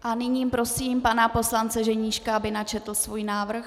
A nyní prosím pana poslance Ženíška, aby načetl svůj návrh.